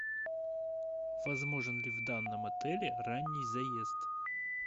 возможен ли в данном отеле ранний заезд